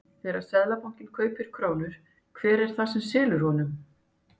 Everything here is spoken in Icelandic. Þegar Seðlabankinn kaupir krónur, hver er það sem selur honum?